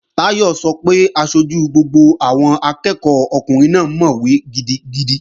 Táyọ̀ sọ pé aṣojú gbogbo àwọn akẹ́ẹ̀kọ́ ọkùnrin náà mọ̀wé gidigidi